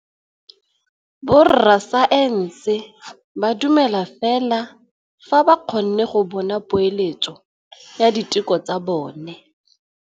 Borra saense ba dumela fela fa ba kgonne go bona poeletsô ya diteko tsa bone.